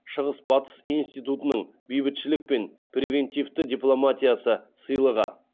шығыс батыс институтының бейбітшілік пен превентивті дипломатиясы сыйлығы